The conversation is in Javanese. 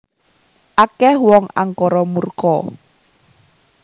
Akeh wong angkara murka